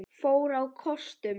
fór á kostum.